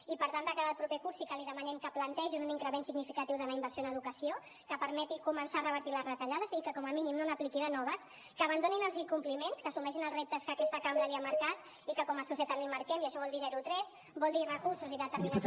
i per tant de cara al proper curs sí que li demanem que plantegin un increment significatiu de la inversió en educació que permeti començar a revertir les retallades i que com a mínim no n’apliqui de noves que abandonin els incompliments que assumeixin els reptes que aquesta cambra li ha marcat i que com a societat li marquem i això vol dir zero tres vol dir recursos i determinació